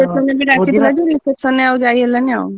reception ରେ ଆଉ ଯାଇ ହେଲାନି ଆଉ।